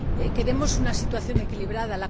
Queremos una situación equilibrada.